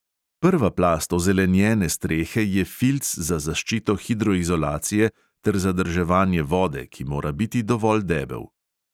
Prva plast ozelenjene strehe je filc za zaščito hidroizolacije ter zadrževanje vode, ki mora biti dovolj debel.